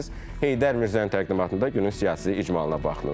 Heydər Mirzənin təqdimatında günün siyasi icmalına baxdınız.